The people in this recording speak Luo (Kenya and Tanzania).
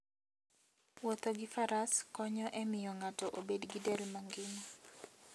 Wuotho gi faras konyo e miyo ng'ato obed gi del mangima.